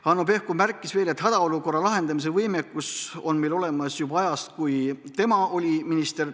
Hanno Pevkur märkis veel, et hädaolukorra lahendamise võimekus on meil olemas juba ajast, kui tema oli minister.